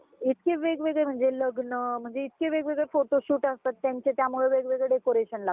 अं फळ पण रोज घ्यायला पाहिजे मला अस वाटत कारण कि फळ हे रोज एक तरी फळ खायला पाहिजे कारण अं ते खाल्ल्यानी आपण निरोगी राहतो